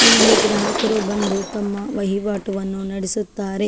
ಇಲ್ಲಿ ಗ್ರಾಹಕರು ಬಂದು ತಮ್ಮ ವಹಿವಾಟು ಅನ್ನು ನಡೆಸುತ್ತಾರೆ .